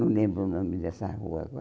Não lembro o nome dessa rua agora.